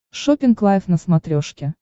шоппинг лайф на смотрешке